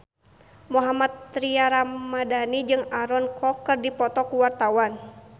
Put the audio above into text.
Mohammad Tria Ramadhani jeung Aaron Kwok keur dipoto ku wartawan